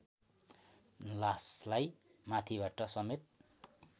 लासलाई माथिबाट समेत